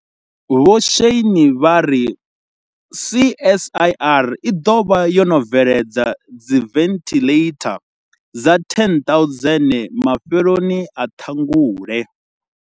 Vho Shane vha ri CSIR i ḓo vha yo no bveledza dzi venthiḽeitha dza 10 000 mafheloni a Ṱhangule.